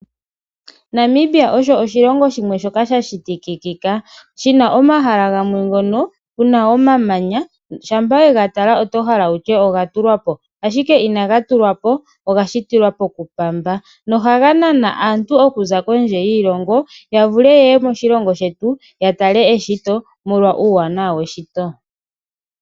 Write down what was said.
Namibia osho oshilongo shimwe shoka sha shitika shina omahala gamwe ngono gena omamanya shampa wega tala ototi oga tulwapo ihe inaga tulwapo oga shitilwapo kupamba. Ohaga nana aantu okuza kondje yiilongo yavule yeyw moshilongo shetu yatale eshito molwa uuwanawa weshito.